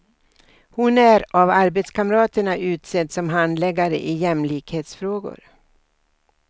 Hon är av arbetskamraterna utsedd som handläggare i jämlikhetsfrågor.